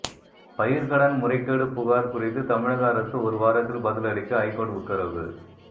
பயிர்கடன் முறைகேடு புகார் குறித்து தமிழக அரசு ஒருவாரத்தில் பதிலளிக்க ஐகோர்ட் உத்தரவு